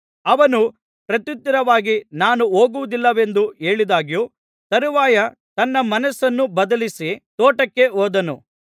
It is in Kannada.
ಅವನು ಪ್ರತ್ಯುತ್ತರವಾಗಿ ನಾನು ಹೋಗುವುದಿಲ್ಲವೆಂದು ಹೇಳಿದ್ದಾಗ್ಯೂ ತರುವಾಯ ತನ್ನ ಮನಸ್ಸನ್ನು ಬದಲಿಸಿ ತೋಟಕ್ಕೆ ಹೋದನು